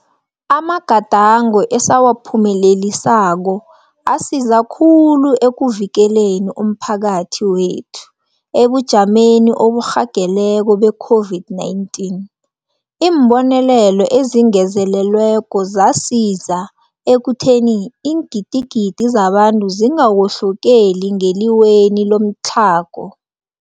Amagadango esawaphume lelisako asiza khulu ekuvikeleni umphakathi wethu ebujameni oburhageleko be-COVID-19 . Iimbonelelo ezingezelelweko zasiza ekutheni iingidigidi zabantu zingawohlokeli ngeliweni lomtlhago.